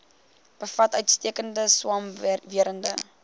bevat uitstekende swamwerende